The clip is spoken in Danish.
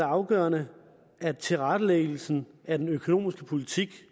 afgørende at tilrettelæggelsen af den økonomiske politik